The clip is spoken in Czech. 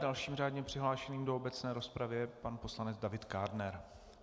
Dalším řádně přihlášeným do obecné rozpravy je pan poslanec David Kádner.